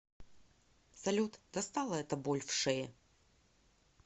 салют достала эта боль в шее